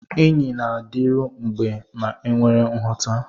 Enyi na-adịru mgbe ma enwere nghọta.